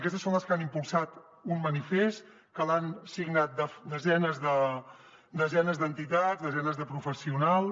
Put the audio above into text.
aquestes són les que han impulsat un manifest que l’han signat dese nes d’entitats desenes de professionals